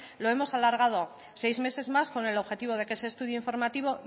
lo hemos alargado seis meses más con el objetivo de que ese estudio informativo